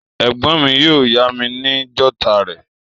Ègbón mi yio yá mi ni jotter rè